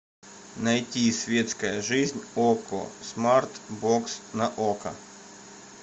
найти светская жизнь окко смарт бокс на окко